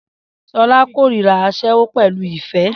Shola kórìíra aṣẹ́wó pẹ̀lú ìfẹ́